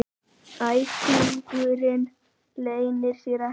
Æsingurinn leynir sér ekki.